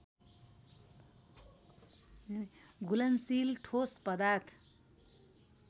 घुलनशील ठोस पदार्थ